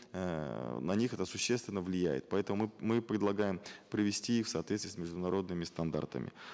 эээ на них это существенно влияет поэтому мы мы предлагаем привести их в соответствие с международными стандартами